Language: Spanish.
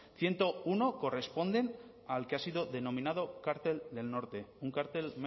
ciento uno corresponden al que ha sido denominado cartel del norte un cartel